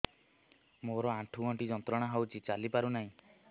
ମୋରୋ ଆଣ୍ଠୁଗଣ୍ଠି ଯନ୍ତ୍ରଣା ହଉଚି ଚାଲିପାରୁନାହିଁ